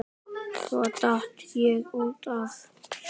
Svo datt ég út af.